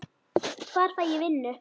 Hvar fæ ég vinnu?